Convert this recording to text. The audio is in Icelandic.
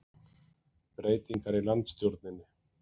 Breytingar í landsstjórninni